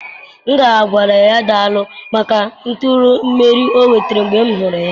M ga-agwara ya daalụ maka nturu imeri ọ nwetara mgbe m hụrụ ya.